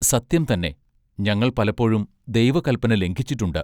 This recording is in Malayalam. സത്യം തന്നെ ഞങ്ങൾ പലപ്പോഴും ദൈവകല്പന ലംഘിച്ചിട്ടുണ്ട്.